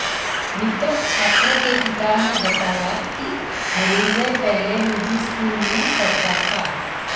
मृतक छात्र के पिता ने बताया कि धनंजय पहले निजी स्कूल में पढ़ता था